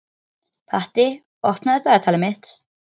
Patti, opnaðu dagatalið mitt.